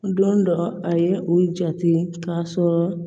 Don dɔ a ye u jate k'a sɔrɔ